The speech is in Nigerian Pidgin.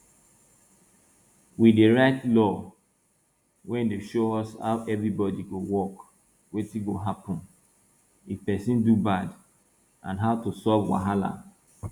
we dey write law wey dey show us how everybody go work wetin go happun if person do bad and how to solve wahala